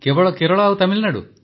କେବଳ କେରଳ ଓ ତାମିଲନାଡୁ